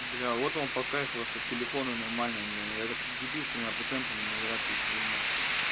бля вот он по кайфу а тут телефоны нормально это я как дебил с тремя процентами на зарядке сижу блять